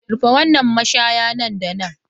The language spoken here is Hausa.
Rufe wannan mashaya nan da nan!